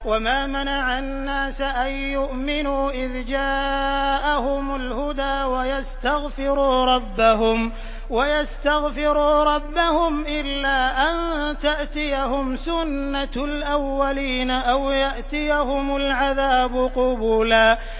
وَمَا مَنَعَ النَّاسَ أَن يُؤْمِنُوا إِذْ جَاءَهُمُ الْهُدَىٰ وَيَسْتَغْفِرُوا رَبَّهُمْ إِلَّا أَن تَأْتِيَهُمْ سُنَّةُ الْأَوَّلِينَ أَوْ يَأْتِيَهُمُ الْعَذَابُ قُبُلًا